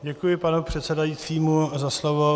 Děkuji panu předsedajícímu za slovo.